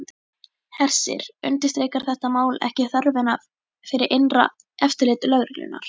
Hersir, undirstrikar þetta mál ekki þörfina fyrir innra eftirlit lögreglunnar?